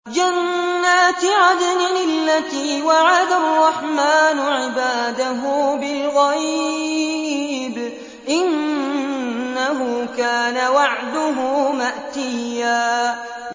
جَنَّاتِ عَدْنٍ الَّتِي وَعَدَ الرَّحْمَٰنُ عِبَادَهُ بِالْغَيْبِ ۚ إِنَّهُ كَانَ وَعْدُهُ مَأْتِيًّا